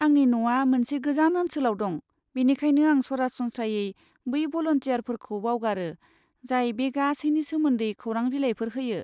आंनि न'आ मोनसे गोजान ओनसोलाव दं, बेनिखायनो आं सरासनस्रायै बै भलान्टियारफोरखौ बावगारो जाय बे गासैनि सोमोन्दै खौरां बिलाइफोर होयो।